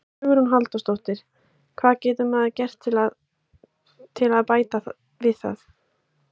Hugrún Halldórsdóttir: Hvað getur maður gert til að, til að bæta það?